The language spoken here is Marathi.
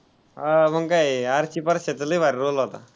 हा मग काय आर्ची-परशाचा लय भारी role होता.